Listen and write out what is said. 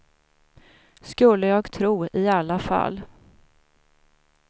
Skulle jag tro i alla fall.